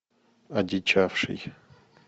одичавший